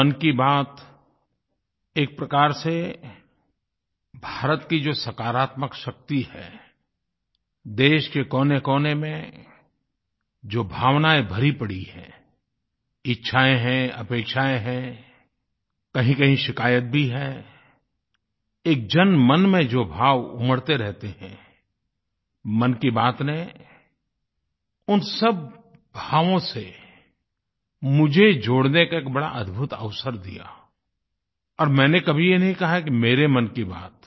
मन की बात एक प्रकार से भारत की जो सकारात्मक शक्ति है देश के कोनेकोने में जो भावनाएँ भरी पड़ी हैं इच्छाएँ हैं अपेक्षाएँ हैं कहींकहीं शिकायत भी है एक जनमन में जो भाव उमड़ते रहते हैं मन की बात ने उन सब भावों से मुझे जुड़ने का एक बड़ा अद्भुत अवसर दिया और मैंने कभी ये नहीं कहा है कि मेरे मन की बात है